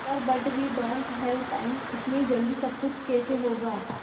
sir but we don't have time इतनी जल्दी सब कुछ कैसे होगा